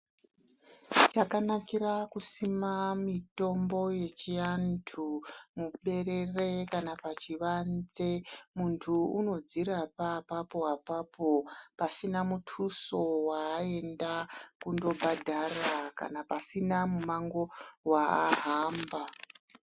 Chakanakira kusima mitombo yechiantu muberere kana pachivanze, muntu unodzirapa apapo-apapo pasina mutuso waaenda kundobhadhara. Kana pasina mumango waahamba.